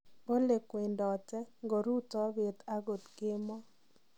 Bolee kwendotet, ngorutoo beet agot keemo.